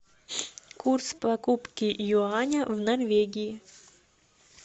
курс покупки юаня в норвегии